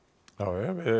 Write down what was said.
já